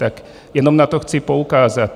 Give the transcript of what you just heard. Tak jenom na to chci poukázat.